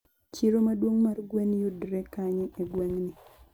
Chiro maduong mar gwen yudre kanye e gweng'ni?